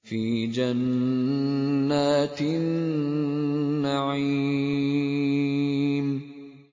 فِي جَنَّاتِ النَّعِيمِ